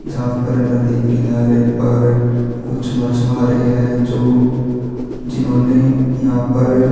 जहाँ पर नदी किनारे पर कुछ मच्छवारे है जो जिन्होंने यहाँ पर--